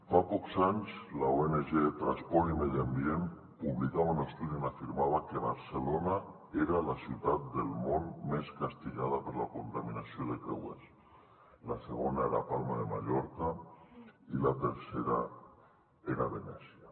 fa pocs anys l’ong transport i medi ambient publicava un estudi on afirmava que barcelona era la ciutat del món més castigada per la contaminació de creuers la segona era palma de mallorca i la tercera era venècia